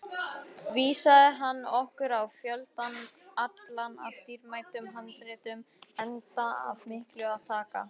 Vísaði hann okkur á fjöldann allan af dýrmætum handritum, enda af miklu að taka.